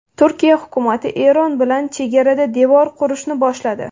Turkiya hukumati Eron bilan chegarada devor qurishni boshladi.